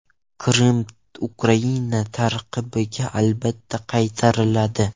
Qrim Ukraina tarkibiga albatta qaytariladi.